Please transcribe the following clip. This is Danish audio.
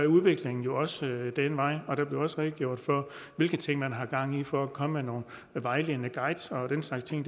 udviklingen jo også den vej og der blev også redegjort for hvilke ting man har gang i for at komme med nogle vejledende guides og den slags ting